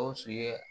Gawusu ye